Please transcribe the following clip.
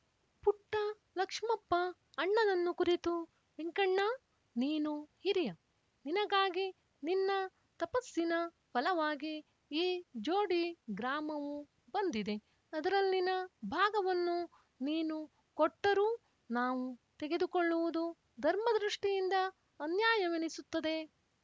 ಪುಟ್ಟ ಲಕ್ಷ್ಮಪ್ಪ ಅಣ್ಣನನ್ನು ಕುರಿತು ವೆಂಕಣ್ಣ ನೀನು ಹಿರಿಯ ನಿನಗಾಗಿ ನಿನ್ನ ತಪಸ್ಸಿನ ಫಲವಾಗಿ ಈ ಜೋಡಿ ಗ್ರಾಮವು ಬಂದಿದೆ ಅದರಲ್ಲಿನ ಭಾಗವನ್ನು ನೀನು ಕೊಟ್ಟರೂ ನಾವು ತೆಗೆದುಕೊಳ್ಳುವುದು ಧರ್ಮದೃಷ್ಟಿಯಿಂದ ಅನ್ಯಾಯವೆನಿಸುತ್ತದೆ